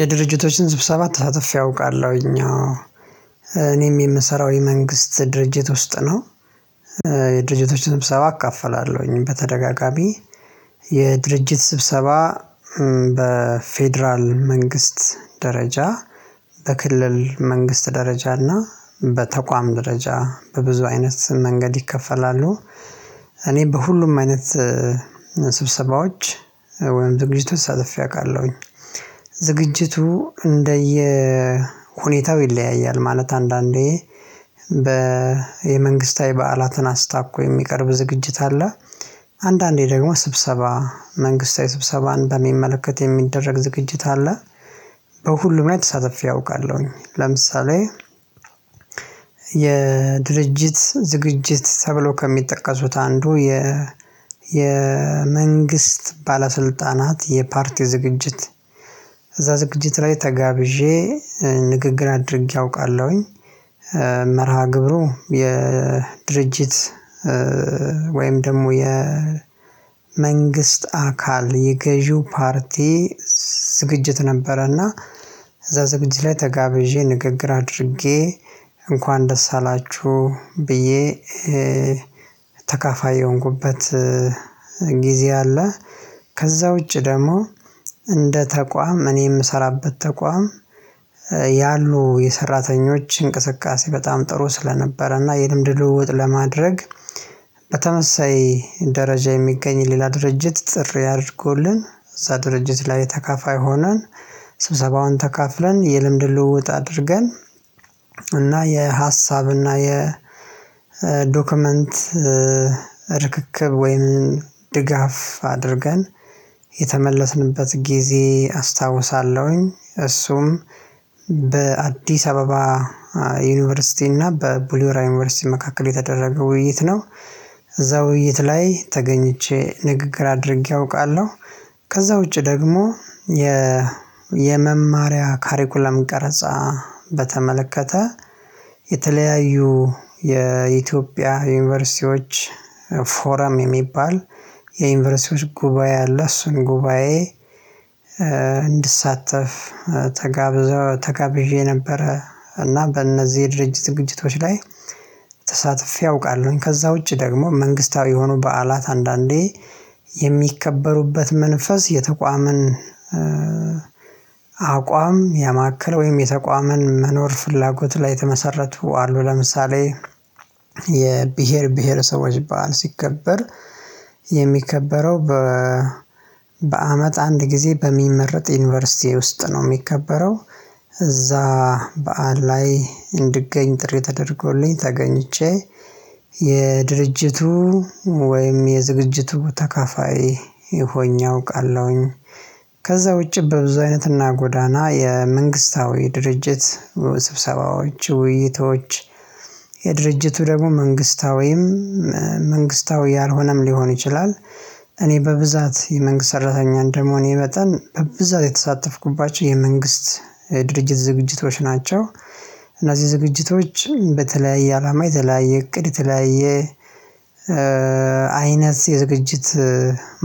የድርጅቶችን ስብሰባ ተሳትፌ አውቃለሁኝ። እኔም የምሰራው የመንግስት ድርጅት ውስጥ ነው። የድርጅቶች ስብሰባ እካፈላለሁኝ በተደጋጋሚ። የድርጅት ስብሰባ በፌደራል መንግስት ደረጃ በክልል መንግስት ደረጃ እና በተቋም ደረጃ በብዙ አይነት መንገድ ይከፈላሉ። እኔ በሁሉም አይነት ስብሰባዎች ወይም ዝግጅቱን ተሳትፍ አውቃለሁኝ። ዝግጅቱ እንደየ ሁኔታው ይለያያል ማለት አንዳንዴ በ የመንግስታዊ በዓላትን አስታኮ የሚቀርብ ዝግጅት አለ። አንዳንዴ ደግሞ ስብሰባ መንግስታዊ ስብሰባን በሚመለከት የሚደረግ ዝግጅት አለ። በሁሉም ላይ ተሳትፌ አውቃለሁኝ። ለምሳሌ የድርጅት ዝግጅት ተብሎ ከሚጠቀሱት አንዱ የ የመንግስት ባለስልጣናት የፓርቲ ዝግጅት እዛ ዝግጅት ላይ ተጋብዤ ንግግር አድርጌ አውቃለሁኝ። መርሃ ግብሩ የድርጅት ወይም ደግሞ የመንግስት አካል የገዢው ፓርቲ ዝግጅት ነበረና። እዛ ዝግጅት ላይ ተጋብዤ ንግግር አድርጌ እንኳን ደስ አላችሁ ብዬ ተካፋይ የሆንኩበት ጊዜ አለ። ከዛ ውጪ ደግሞ እንደ ተቋም እኔ የምሰራበት ተቋም። ያሉ የሰራተኞች እንቅስቃሴ በጣም ጥሩ ስለነበረ እና የልምድ ልውውጥ ለማድረግ በተመሳሳይ ደረጃ የሚገኝ ሌላ ድርጅት ጥሪ አድርጎልን እዛ ድርጅት ላይ ተካፋይ ሆነን ስብሰባውን ተካፍለን የልምድ ልውውጥ አድርገን እና የሀሳብና የዶክመንት ርክክብ ወይም ድጋፍ አድርገን የተመለስንበት ጊዜ አስታውሳለሁኝ። እሱም በአዲስ አበባ ዩኒቨርሲቲ እና በቡሊ ሆራ ዩኒቨርሲቲ መካከል የተደረገው ውይይት ነው። እዛ ውይይት ላይ ተገኝቼ ንግግር አድርጌ አውቃለሁ። ከዛ ውጪ ደግሞ የ የመማሪያ ካሪኩለም ቀረጻ በተመለከተ የተለያዩ የኢትዮጵያ ዩኒቨርሲቲዎች ፎረም የሚባል የዩኒቨርሲቲዎች ጉባኤ አለ እሱን ጉባኤ እንድሳተፍ ተጋብዤ ነበረ እና በእነዚህ የድርጅት ዝግጅቶችቶች ላይ ተሳትፌ አውቃለሁኝ። ከዛ ውጪ ደግሞ መንግስታዊ የሆኑ በዓላት አንዳንዴ የሚከበሩበት መንፈስ የተቋምን አቋም ያማከለ ወይም የተቋምን መኖር ፍላጎት ላይ የተመሰረቱ አሉ። ለምሳሌ የብሄር ብሄረሰቦች በዓል ሲከበር የሚከበረው በ በአመት አንድ ጊዜ በሚመረጥ ዩኒቨርሲቲ ውስጥ ነው የሚከበረው። እዛ በዓል ላይ እንድገኝ ጥሪ ተደርጎልኝ ተገኝቼ የድርጅቱ ወይም የዝግጅቱ ተካፋይ ሆኜ አውቃለሁኝ። ከዛ ውጪ በብዙ አይነትና ጎዳና የመንግስታዊ ድርጅት ስብሰባዎች ውይይቶች የድርጅቱ ደግሞ መንግስታዊም መንግስታዊ ያልሆነም ሊሆን ይችላል። እኔ በብዛት የመንግስት ሰራተኛ እንደመሆን መጠን በብዛት የተሳተፍኩባቸው የመንግስት ድርጅት ዝግጅቶች ናቸው። እና የዝግጅቶች በተለያየ አላማ የተለያየ እቅድ የተለያየ አይነት የዝግጅት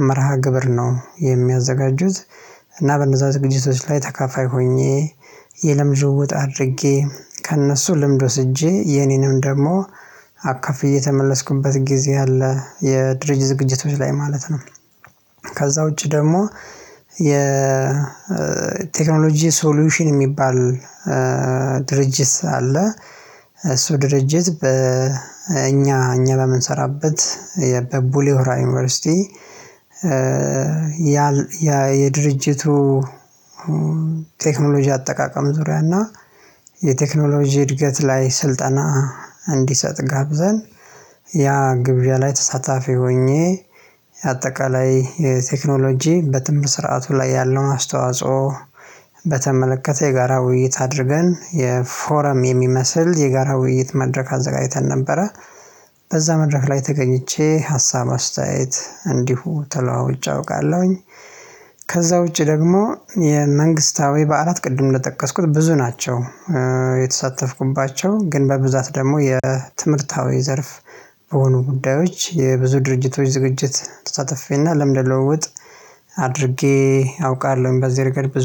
መርሃ ግብር ነው የሚያዘጋጁት። እና በነዛ ዝግጅቶች ላይ ተካፋይ ሆኜ የልምድ ልውውጥ አድርጌ ከእነሱ ልምድ ወስጄ የኔንም ደግሞ አካፍ የተመለስኩበት ጊዜ አለ። የድርጅት ዝግጅቶች ላይ ማለት ነው። ከዛ ውጪ ደግሞ የቴክኖሎጂ ሶሉሽን የሚባል ድርጅት አለ። እሱ ድርጅት በ በእኛ እኛ በምንሰራበት የቡሌ ሆራ ዩኒቨርሲቲ ያ የድርጅቱ ቴክኖሎጂ አጠቃቀም ዙሪያ እና የቴክኖሎጂ እድገት ላይ ስልጠና እንዲሰጥ ጋብዘን ያ ግብዣ ላይ ተሳታፊ ሆኜ አጠቃላይ የቴክኖሎጂ በትምህርት ስርዓቱ ላይ ያለው አስተዋጽኦ በተመለከተ የጋራ ውይይት አድርገን የፎረም የሚመስል የጋራ ውይይት መድረክ አዘጋጅተን ነበረ። በዛ መድረክ ላይ ተገኝቼ ሀሳብ አስተያየት እንዲሁ ተለዋውጭ አውቃለሁኝ። ከዛ ውጪ ደግሞ የመንግስታዊ በዓላት ቅድም እንደጠቀስኩት ብዙ ናቸው። የተሳተፍኩባቸው ግን በብዛት ደግሞ የትምህርታዊ ዘርፍ በሆኑ ጉዳዮች የብዙ ድርጅቶች ዝግጅት ተሳትፌና ለምን ለውጥ አድርጌ አውቃለሁኝ በዚህ ረገድ